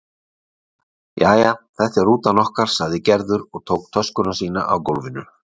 Jæja, þetta er rútan okkar sagði Gerður og tók töskuna sína af gólfinu.